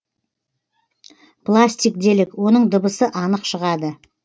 пластик делік оның дыбысы анық шығады